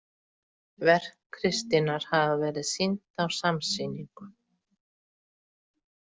Verk Kristínar hafa verið sýnd á samsýningum.